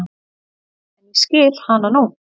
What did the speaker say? En ég skil hana nú.